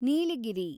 Nilgiri